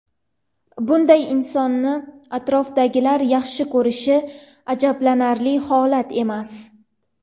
Bunday insonni atrofidagilar yaxshi ko‘rishi ajablanarli holat emas.